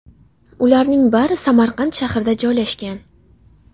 Ularning bari Samarqand shahrida joylashgan.